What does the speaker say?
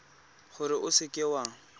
gore o seka w a